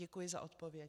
Děkuji za odpověď.